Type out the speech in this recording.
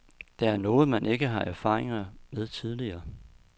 Det er noget man ikke har erfaringer med tidligere.